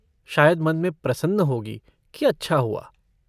शायद मन में प्रसन्न होगी कि अच्छा हुआ।